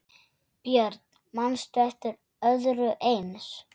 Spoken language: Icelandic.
Björn: Manstu eftir öðru eins?